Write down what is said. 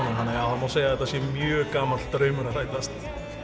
það má segja að þetta sé mjög gamall draumur að rætast